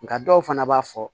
Nka dɔw fana b'a fɔ